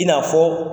I n'a fɔ